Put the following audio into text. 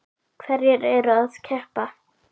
Hverjir eru að keppa?